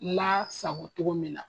La sago cogo min na.